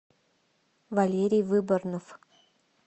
валерий выборнов